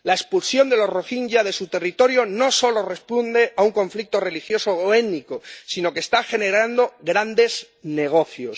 La expulsión de los rohinyás de su territorio no solo responde a un conflicto religioso o étnico, sino que está generando grandes negocios.